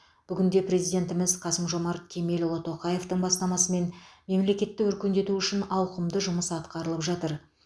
бүгінде президентіміз қасым жомарт кемелұлы тоқаевтың бастамасымен мемлекетті өркендету үшін ауқымды жұмыс атқарылып жатыр